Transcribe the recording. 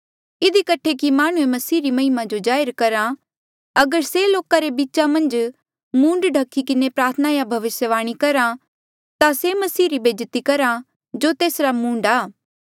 इधी कठे कि माह्णुं मसीह री महिमा जो जाहिर करहा अगर से लोका रे बीच मन्झ मूंड ढख्ही किन्हें प्रार्थना या भविस्यवाणी करहा से मसीह री बेज्जती करहा जो तेस्सा रा मूंड आ